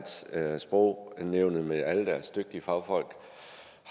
at at sprognævnet med alle deres dygtige fagfolk